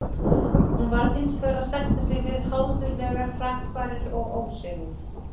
Hún varð hinsvegar að sætta sig við háðulegar hrakfarir og ósigur.